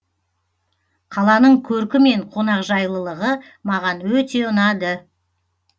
қаланың көркі мен қонақжайлылығы маған өте ұнады